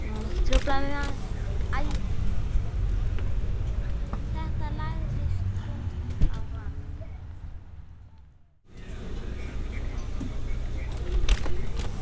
Þetta lagðist þungt á hann.